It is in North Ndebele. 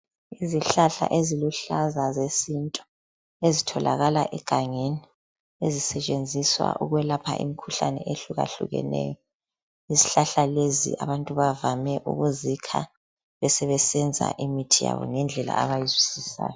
Izihlahla eziluhlaza zesintu, ezitholakala egangeni, ezisetshenziswa ukwelapha imikhuhlane ehlukahlukeneyo. Izihlahla lezi abantu bavame ukuzikha besebesenza imithi yabo ngendlela abayizwisisayo.